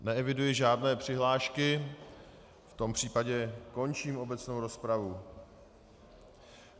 Neeviduji žádné přihlášky, v tom případě končím obecnou rozpravu.